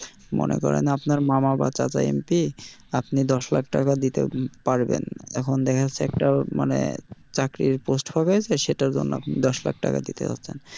মনে করেন আপনার মামা বা চাচা MP আপনি দশ লাখ টাকা দিতে পারবেন, এখন দেখা যাচ্ছে একটা মানে চাকরির post বের হয়েছে সেটার জন্য আপনি দশ লাখ টাকা দিতে পারবেন,